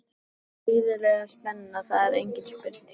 Það er gríðarleg spenna, það er engin spurning.